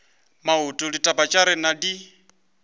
maoto ditaba tša rena di